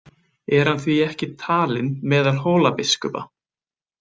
Er hann því ekki talinn meðal Hólabiskupa.